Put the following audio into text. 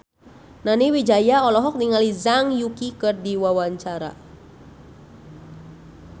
Nani Wijaya olohok ningali Zhang Yuqi keur diwawancara